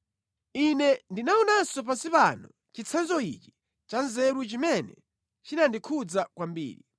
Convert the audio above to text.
Ine ndinaonanso pansi pano chitsanzo ichi cha nzeru chimene chinandikhudza kwambiri: